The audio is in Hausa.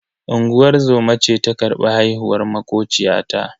Unguwar zoma ce ta karbi haihuwar makociyata.